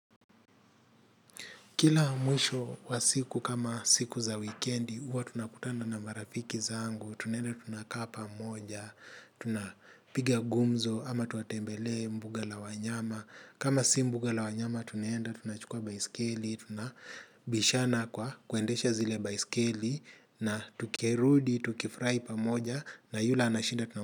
Kila mwisho wa siku kama siku za wikendi huwa tunakutana na marafiki zangu, tunaenda tunakaa pamoja, tunapiga gumzo ama tunatembelea mbuga la wanyama. Kama si mbuga la wanyama tunaenda tunachukua baiskeli, tunabishana kwa kuendesha zile baiskeli na tukirudi, tukifrai pamoja na yule ana shida.